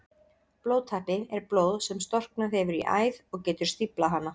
Blóðtappi er blóð sem storknað hefur í æð og getur stíflað hana.